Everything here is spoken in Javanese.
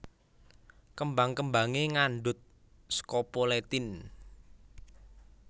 Kembang kembangé ngandhut scopoletin